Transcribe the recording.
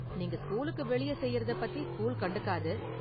நீங்க ஸ்கூலுக்கு வெளியே செய்யறத பத்தி ஸ்கூல் கண்டுக்காது.